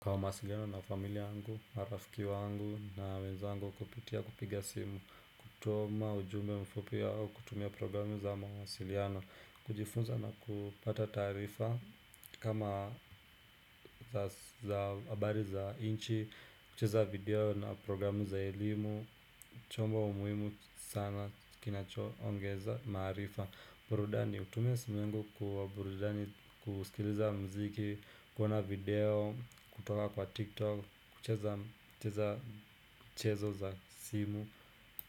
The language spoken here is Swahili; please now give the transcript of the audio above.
Kwa mawasiliano na familia yangu, marafiki wangu na wenzangu kupitia kupiga simu kutuma ujume mfupi au kutumia programu za mawasiliano kujifunza na kupata taarifa kama za habari za inchi, kucheza video na programu za elimu chombo muhimu sana kinachoongeza maarifa burudani, hutumia simu yangu kwa burudani, kusikiliza mziki. Kuona video, kutoka kwa tiktok kucheza mchezo za simu.